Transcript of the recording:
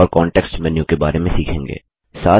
और context menu के बारे में सीखेंगे